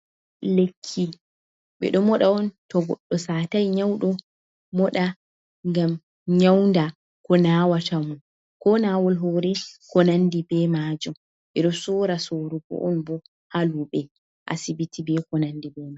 Lekki: Ɓeɗo moɗa on to goɗɗo satai nyauɗo moɗa ngam nyaunda ko nawata mum. Ko nawol hore ko nandi be majum. Ɓeɗo sora sorugo on bo ha luɓe, asibiti ko nandi be mai.